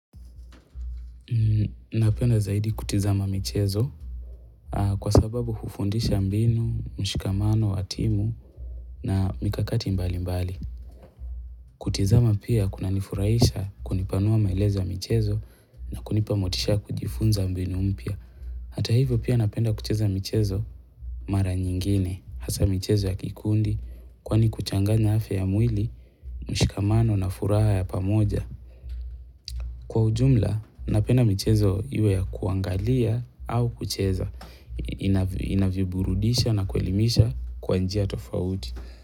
Napenda zaidi kutizama mchezo na kwa sababu hufundisha mbinu, mshikamano, wa timu na mikakati mbali mbali. Kutizama pia kuna nifurahisha kunipanua maelezo ya michezo na kunipa motisha ya kujifunza mbinu mpya. Hata hivyo pia napenda kucheza michezo mara nyingine. Hasa michezo ya kikundi kwani kuchanganya afya ya mwili, mshikamano na furaha ya pamoja. Kwa ujumla, napenda michezo iwe ya kuangalia au kucheza. Inaviburudisha na kuelimisha kwa njia tofauti.